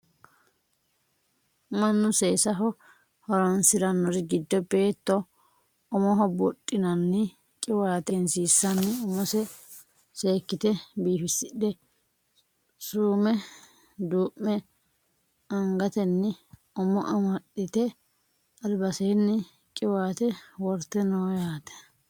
mannu seesaho horonsirannori giddo beetto umoho buudhinanni qiwaate egensiissanni umose seekkite biifisidhe suume duume angatenni umo amaxxite albaseenni qiwaate worte no yaate